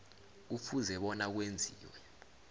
kufuze bona kwenziwe